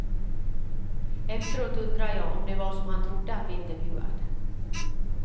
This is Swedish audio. Efteråt undrar jag om det var som han trodde att bli intervjuad.